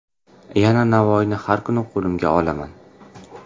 Yana Navoiyni har kuni qo‘limga olaman.